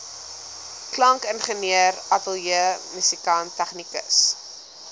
klankingenieur ateljeemusikant tegnikus